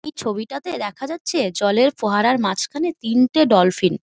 এই ছবিটাতে দেখা যাচ্ছে জলের ফোয়ারার মাঝখানে তিনটে ডলফিন ।